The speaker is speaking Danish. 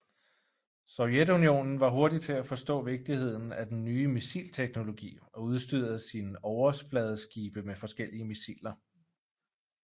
Sovjetunionen var hurtig til at forstå vigtigheden af den nye missilteknologi og udstyrede sin overfladeskibe med forskellige missiler